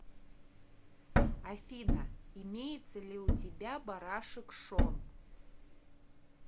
афина имеется ли у тебя барашек шон